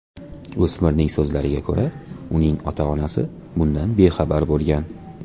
O‘smirning so‘zlariga ko‘ra, uning ota-onasi bundan bexabar bo‘lgan.